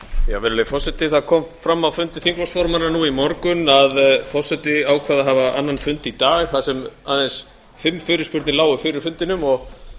virðulegi forseti það kom fram á fundi þingflokksformanna nú í morgun að forseti ákvað að hafa annan fund í dag þar sem aðeins fimm fyrirspurnir lágu fyrir fundinum og